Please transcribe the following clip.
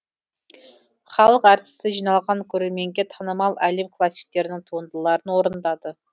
халық әртісі жиналған көрерменге танымал әлем классиктерінің туындыларын орындады